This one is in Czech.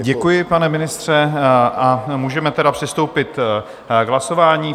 Děkuji, pane ministře, a můžeme tedy přistoupit k hlasování.